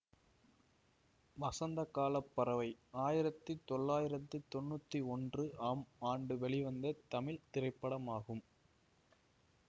வசந்தகால பறவை ஆயிரத்தி தொளாயிரத்தி தொன்னுத்தி ஒன்று ஆம் ஆண்டு வெளிவந்த தமிழ் திரைப்படமாகும்